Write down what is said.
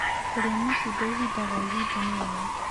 Kũrĩa matunda ĩhĩda gwa ĩhĩda nĩwega